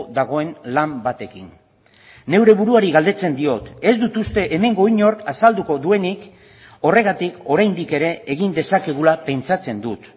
dagoen lan batekin neure buruari galdetzen diot ez dut uste hemengo inork azalduko duenik horregatik oraindik ere egin dezakegula pentsatzen dut